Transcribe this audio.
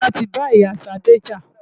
Musa ti ba ìyá Ṣadé jà.